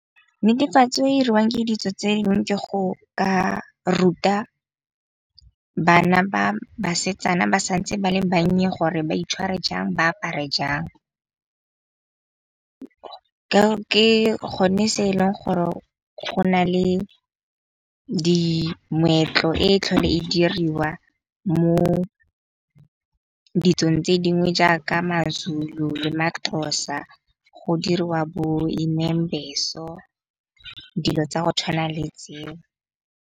Netefatso e iriwang ke ditso tse dingwe ke go ka ruta bana ba basetsana ba santse ba le bannye gore ba itshware jang, ba apare jang. Ke gone se eleng gore go na le dimoetlo e tlhole e diriwa mo ditsong tse dingwe jaaka mazulu le maxhosa go diriwa bo imembezo dilo tsa go tshwana le tseo.